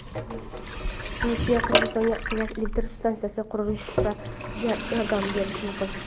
Rossiya Qirg‘izistonga gaz elektr stansiyasini qurishda yordam berishi mumkin.